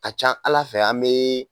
A ca Ala fɛ an bɛ